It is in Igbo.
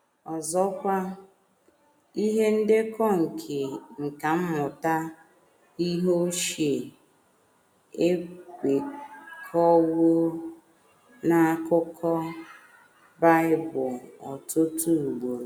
Ọzọkwa, ihe ndekọ nke nkà mmụta ihe ochie ekwekọwo n’akụkọ Bible ọtụtụ ugboro.